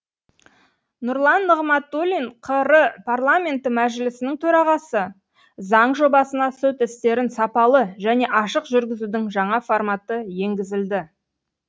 нұрлан нығматулин қр парламенті мәжілісінің төрағасы заң жобасына сот істерін сапалы және ашық жүргізудің жаңа форматы енгізілді